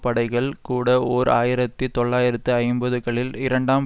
படைகள் கூட ஓர் ஆயிரத்தி தொள்ளாயிரத்து ஐம்பதுகளில் இரண்டாம்